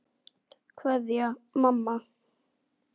Kveðja, mamma.